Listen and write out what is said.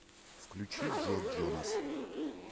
включи джо джонас